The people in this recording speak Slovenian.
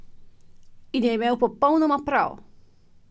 In je imel popolnoma prav!